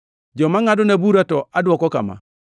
Joma ngʼadona bura to adwoko kama.